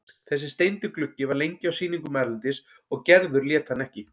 Þessi steindi gluggi var lengi á sýningum erlendis og Gerður lét hann ekki.